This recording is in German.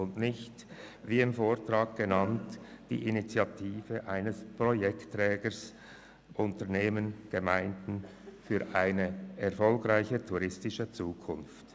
Damit meinte ich nicht, wie im Vortrag genannt, die Initiativen von Projektträgern wie Unternehmen und Gemeinden für eine erfolgreiche touristische Zukunft.